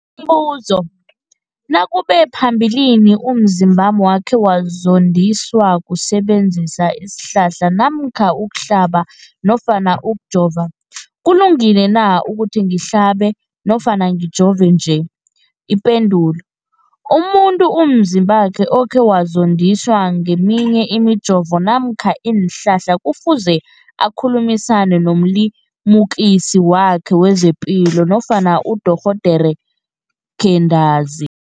Umbuzo, nakube phambilini umzimbami wakhe wazondiswa kusebenzisa isihlahla namkha ukuhlaba nofana ukujova, kulungile na ukuthi ngihlabe nofana ngijove nje? Ipendulo, umuntu umzimbakhe okhe wazondiswa ngeminye imijovo namkha iinhlahla kufuze akhulumisane nomlimukisi wakhe wezepilo nofana nodorhoderakhe ntanzi.